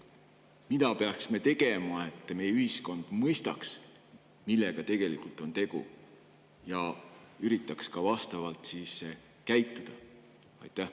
Mida peaksime tegema, et meie ühiskond mõistaks, millega on tegu, ja üritaks ka vastavalt käituda?